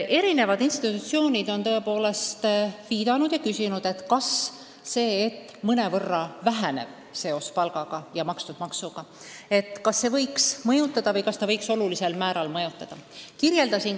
Erinevad institutsioonid on tõepoolest küsinud, kas see, et mõnevõrra väheneb seos palgaga ja makstud maksuga, võiks olulisel määral mõjutada maksutulusid.